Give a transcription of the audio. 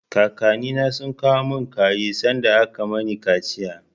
Kakannina sun kawo mun kaji sanda aka mani kaciya.